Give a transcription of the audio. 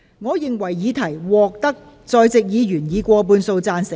我認為議題獲得在席議員以過半數贊成。